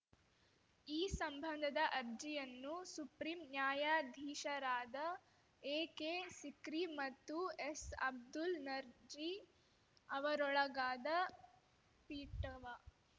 ಈ ಸಂಬಂಧದ ಅರ್ಜಿಯನ್ನು ಸುಪ್ರೀಂ ನ್ಯಾಯಾಧೀಶರಾದ ಎಕೆ ಸಿಕ್ರಿ ಮತ್ತು ಎಸ್‌ ಅಬ್ದುಲ್‌ ನರ್ಜಿ ಅವರೊಳಗಾದ ಪೀಠವ